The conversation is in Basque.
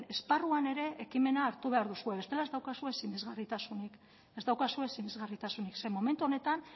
esparruan ere ekimena hartu behar duzue bestela ez daukazue sinesgarritasunik ze momentu honetan